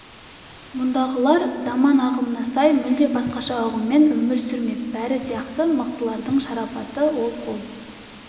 мұндағылар заман ағымына сай мүлде басқаша ұғыммен өмір сүрмек бәрі сияқты мықтылардың шарапаты ол қол